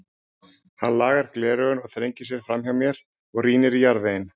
Hann lagar gleraugun, þrengir sér framhjá mér og rýnir í jarðveginn.